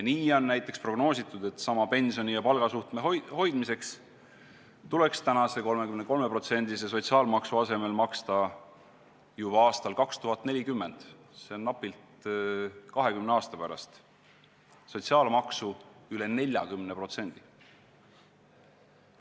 Nii on näiteks prognoositud, et sama pensioni ja palga suhte hoidmiseks tuleks praeguse 33%-se sotsiaalmaksu asemel maksta juba aastal 2040 – see on napilt 20 aasta pärast – sotsiaalmaksu üle 40%.